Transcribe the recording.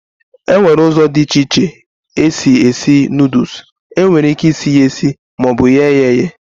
Enwere ụzọ dị iche iche e si esi noodules, e nwere ike ịsị ya esi maọbụ ye yá eyee